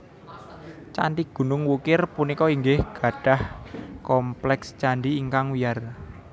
Candhi Gunung Wukir punika inggih gadhah kompleks candhi ingkang wiyar